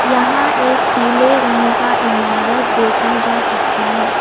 यहां एक पीले रंग का इमारत देखा जा सकता है।